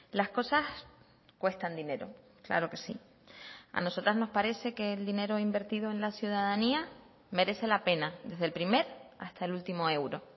las cosas cuestan dinero claro que sí a nosotras nos parece que el dinero invertido en la ciudadanía merece la pena desde el primer hasta el último euro